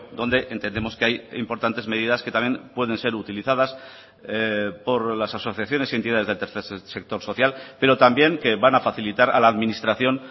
donde entendemos que hay importantes medidas que también pueden ser utilizadas por las asociaciones y entidades del tercer sector social pero también que van a facilitar a la administración